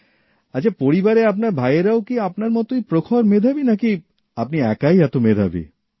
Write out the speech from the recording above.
আচ্ছা পরিবারে আপনার ভাইয়েরাও কি আপনার মতই প্রখর মেধাবী নাকি আপনি একাই এত মেধাবী